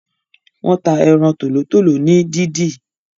wón tá Eran Tòlótòló ní dìdì.